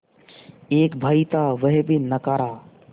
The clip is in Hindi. एक भाई था वह भी नाकारा